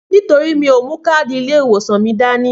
Nítorí mí òmú kàdí ilé ìwòsàn mí dàní.